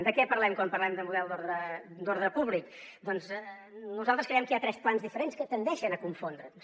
de què parlem quan parlem de model d’ordre públic doncs nosaltres creiem que hi ha tres plans diferents que tendeixen a confondre’ns